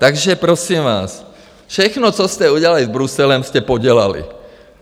Takže prosím vás, všechno, co jste udělali s Bruselem, jste podělali.